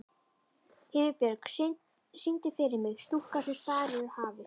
Himinbjörg, syngdu fyrir mig „Stúlkan sem starir á hafið“.